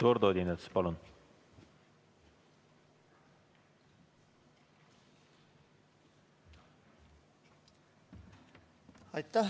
Eduard Odinets, palun!